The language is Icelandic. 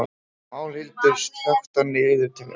Málhildur, slökktu á niðurteljaranum.